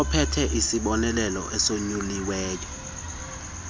ophethe isibonelelo esonyuliweyo